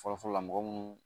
Fɔlɔfɔlɔ la mɔgɔ munnu